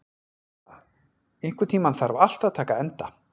Kæja, einhvern tímann þarf allt að taka enda.